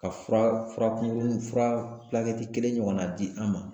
Ka fura fura kunkurunin fura kelen ɲɔgɔnna di an ma